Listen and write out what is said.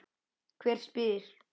Hver spyr?